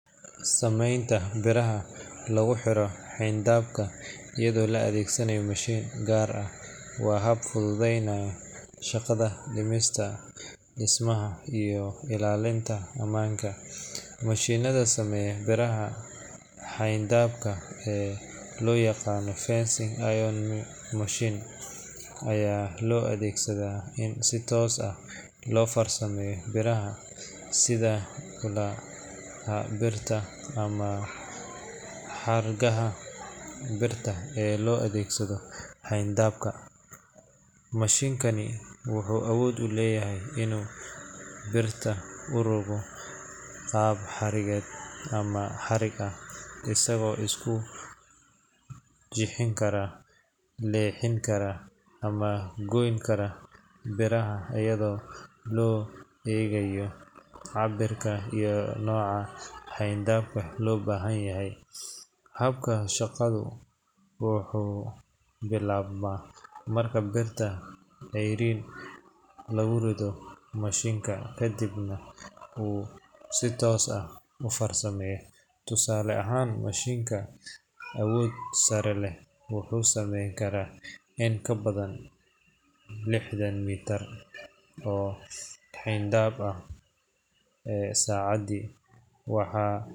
Sameynta biraha lagu xiro xayndaabka iyadoo la adeegsanayo mashiin gaar ah waa hab fududeynaya shaqada dhismaha iyo ilaalinta ammaanka. Mashiinnada sameeya biraha xayndaabka ee loo yaqaan fencing iron making machine ayaa loo adeegsadaa in si toos ah loo farsameeyo biraha sida ulaha birta ah ama xargaha birta ee loo adeegsado xayndaab. Mashiinkaani wuxuu awood u leeyahay inuu birta u rogo qaab xariiqeed ama xarig ah, isagoo isku jixin kara, leexin kara, ama goyn kara biraha iyadoo loo eegayo cabbirka iyo nooca xayndaabka loo baahan yahay. Habka shaqadu wuxuu bilaabmaa marka birta ceeriin lagu rido mashiinka, kadibna uu si toos ah u farsameeyo. Tusaale ahaan, mashiin awood sare leh wuxuu samayn karaa in ka badan lixdan mitir oo xayndaab ah saacaddii. Waxaa.